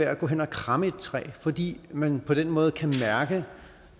at gå hen og kramme et træ fordi man på den måde kan mærke